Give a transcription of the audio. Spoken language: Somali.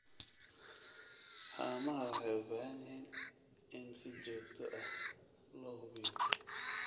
Haamaha waxay u baahan yihiin in si joogto ah loo hubiyo.